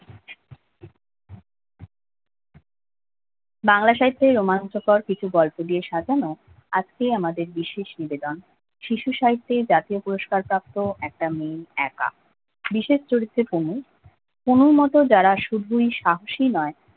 বাংলা সাহিত্যের রোমাঞ্চকর কিছু গল্প দিয়ে সাজানো আজকে আমাদের বিশেষ নিবেদন শিশু সাহিত্যের জাতীয় পুরস্কার প্রাপ্ত একটা মেয়ে একা বিশেষ চরিত্রে পুনু পুনুর মতো যারা শুধুই শাক্ষি নয়